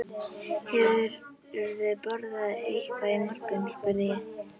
Hefurðu borðað eitthvað í morgun? spurði ég.